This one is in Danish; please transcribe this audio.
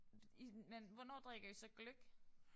Det I man hvornår drikker I så gløgg?